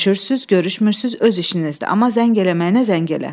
Görüşürsüz, görüşmürsüz öz işinizdir, amma zəng eləməyinə zəng elə.